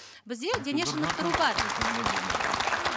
бізде денешынықтыру бар